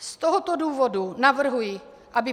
Z tohoto důvodu navrhuji, aby